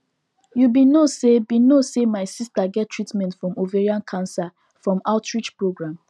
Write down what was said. you be no say be no say my sister get treatment from ovarian cancer from outreach program